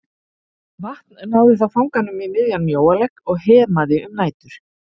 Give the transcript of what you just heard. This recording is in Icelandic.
Vatn náði þá fanganum í miðjan mjóalegg og hemaði um nætur.